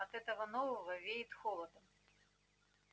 от этого нового веет холодом